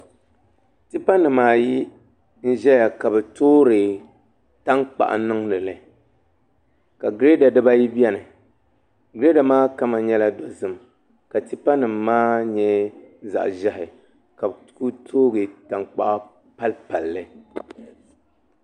Tipa nim ayi n ʒɛya ka bi toori tankpaɣu n niŋdili ka girɛda dibayi biɛni girɛda maa kama nyɛla dozim ka tipa nim maa nyɛ zaɣ ʒiɛhi ka bi ku toogi tankpa pali palli